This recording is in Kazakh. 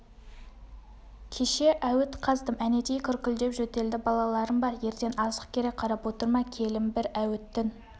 кеше әуіт қаздым әнетей күркілдеп жөтелді балаларың бар ертең азық керек қарап отырма келін бір әуіттің